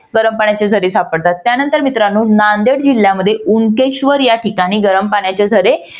गरम पाण्याचे झरे सापडतात. त्यानंतर मित्रानो नांदेड जिल्ह्यामध्ये उनकेश्वर या ठिकाणी गरम पाण्याचे झरे